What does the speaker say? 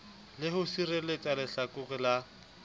le ho sireletsa lehlakore la